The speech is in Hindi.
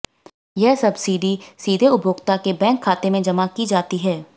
यह सब्सिडी सीधे उपभोक्ता के बैंक खाते में जमा की जाती है